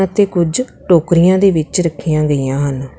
ਤੇ ਕੁਝ ਟੋਕਰੀਆਂ ਦੇ ਵਿੱਚ ਰੱਖੀਆਂ ਗਈਆਂ ਹਨ।